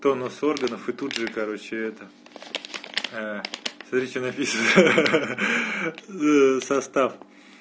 тонус органов и тут же короче это смотри что написано ха-ха состав